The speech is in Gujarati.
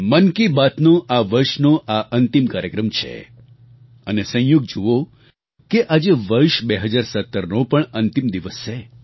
મન કી બાતનો આ વર્ષનો આ અંતિમ કાર્યક્રમ છે અને સંયોગ જુઓ કે આજે વર્ષ 2017નો પણ અંતિમ દિવસ છે